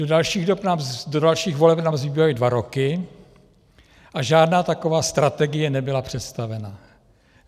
Do dalších voleb nám zbývají dva roky a žádná taková strategie nebyla představena.